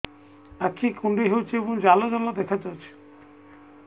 ଆଖି କୁଣ୍ଡେଇ ହେଉଛି ଏବଂ ଜାଲ ଜାଲ ଦେଖାଯାଉଛି